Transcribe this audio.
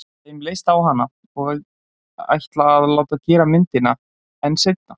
Þeim líst á hana og ætla að láta gera myndina- en seinna.